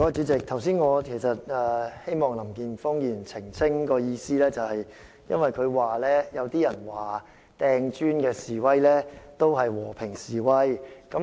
主席，我剛才希望林健鋒議員澄清，是因為他聲稱有人認為擲磚頭的示威者是在進行和平示威。